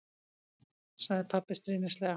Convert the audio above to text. sagði pabbi stríðnislega.